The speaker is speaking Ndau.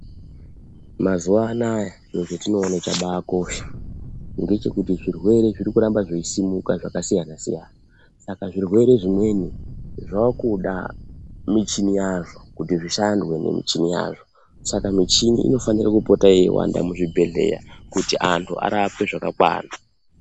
Mazuwa anaya chiro chetindinoone chakabaakosha ,ngechekuti zvirwere zviri kuramba zveisimuka zvakasiyana-siyana, saka zvirwere zvimweni, zvaakuda michini yazvo kuti zvishandwe ngemuchini yazvo. Saka michini inofanire kuwanda muzvibhedhlera, kuti antu arapwe zvakakwana.